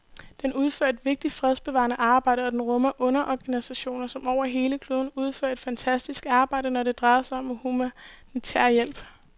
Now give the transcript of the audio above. Den udfører et vigtigt fredsbevarende arbejde, og den rummer underorganisationer, som over hele kloden udfører et fantastisk arbejde, når det drejer sig om humanitær hjælp.